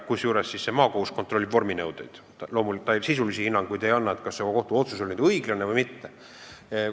Seejuures kontrollib meie kohus vorminõuete täitmist, sisulisi hinnanguid, kas kohtuotsus on õige või mitte, ta ei anna.